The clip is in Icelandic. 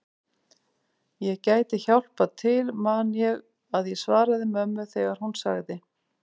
Ég gæti hjálpað til man ég að ég svaraði mömmu þegar hún sagði